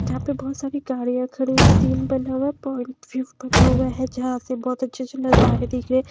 जहाँ पे बहुत सारी गाड़ियां खड़ी सीन बना हुआ है पॉइंट व्यू बना हुआ है यहां से बहुत अच्छे अच्छे नजारे दिख रहे हैं।